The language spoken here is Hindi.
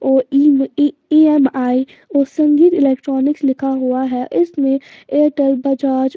और E_ E_ E_ M_ I_ और संगीत इलेक्ट्रॉनिक लिखा हुआ है इसमें एयरटेल बजाज--